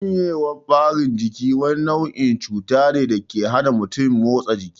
Shanyewar ɓarin jiki wani nau'in cuta ne dake hana mutum motsa jiki